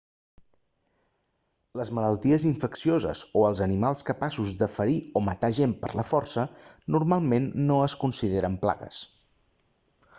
les malalties infeccioses o els animals capaços de ferir o matar gent per la força normalment no es consideren plagues